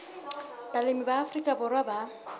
balemi ba afrika borwa ba